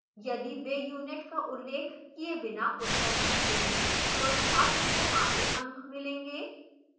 यदि वे unit का उल्लेख किए बिना उत्तर लिखते हैं तो छात्र को आधे अंक मिलेंगे